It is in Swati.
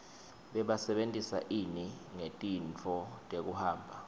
bebasebentisa ini ngetintfo tekuhamba